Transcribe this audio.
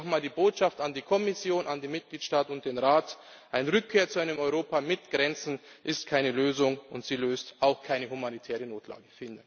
Deswegen nochmal die Botschaft an die Kommission, an die Mitgliedstaaten und den Rat Eine Rückkehr zu einem Europa mit Grenzen ist keine Lösung, und sie löst auch keine humanitäre Notlage.